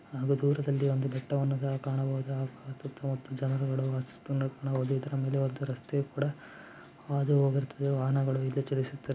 ಹಾಗೂ ಒಂದು ದೂರದಲ್ಲಿ ಬೆಟ್ಟಕಾಣಬಹುದು ಜನರು ಒಂದು ರಸ್ತೆ ಹಾದು ಹೋಗಿರುತ್ತದೆ ವಾಹನಗಳ ಇಲ್ಲಿ ಚಲಿಸುತ್ತ--